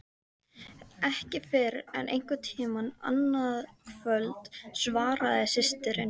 Ekki fyrr en einhvern tíma annað kvöld, svaraði systirin.